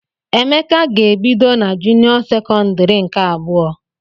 Emeka ga-ebido n'junio sekondari nke abụọ.